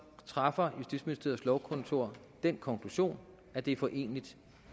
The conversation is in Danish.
træffer justitsministeriets lovkontor den konklusion at det er foreneligt